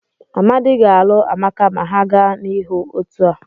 Amadi ga-alụ Amaka ma ha gaa n'ihu otu a.